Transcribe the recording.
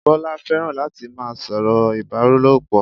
Bọ́lá fẹ́ràn láti má a sọ̀rọ̀ Ìbálòpọ̀